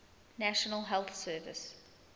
national health service